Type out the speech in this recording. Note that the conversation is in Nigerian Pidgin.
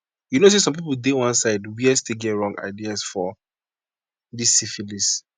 you know say some people dey one side where still really get wrong ideas for this syphilis